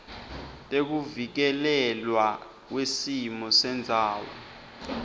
tekuvikelelwa kwesimo sendzawo